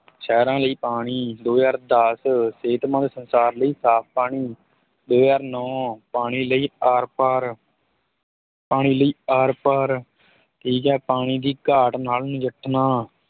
ਸਹਿਰਾਂ ਲਈ ਪਾਣੀ ਦੋ ਹਜ਼ਾਰ ਦਸ ਸਿਹਤਮੰਦ ਸੰਸਾਰ ਲਈ ਸਾਫ ਪਾਣੀ, ਦੋ ਹਜ਼ਾਰ ਨੋਂ ਪਾਣੀ ਲਈ ਆਰਪਾਰ ਪਾਣੀ ਲਈ ਆਰਪਾਰ, ਠੀਕ ਹੈ ਪਾਣੀ ਦੀ ਘਾਟ ਨਾਲ ਨਿਜੱਠਣਾ